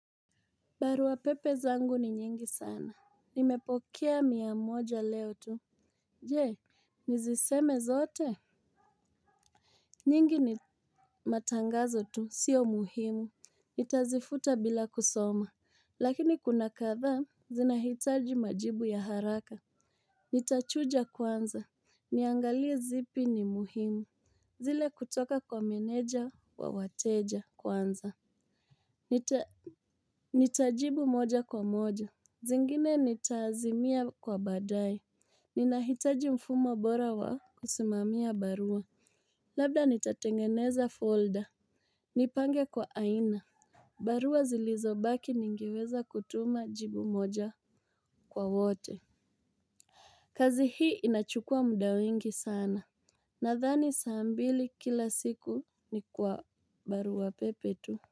Barua pepe zangu ni nyingi sana. Nimepokea mia moja leo tu. Je, niziseme zote? Nyingi ni matangazo tu, sio muhimu. Nitazifuta bila kusoma. Lakini kuna kadhaa, zinahitaji majibu ya haraka. Nitachuja kwanza, niangalie zipi ni muhimu. Zile kutoka kwa meneja wa wateja kwanza. Nitajibu moja kwa moja. Zingine nitaazimia kwa baadae. Ninahitaji mfumo bora wa kusimamia barua. Labda nitatengeneza folder. Nipange kwa aina. Barua zilizobaki ningeweza kutuma jibu moja kwa wote. Kazi hii inachukua muda wengi sana. Nadhani saa mbili kila siku ni kwa barua pepe tu.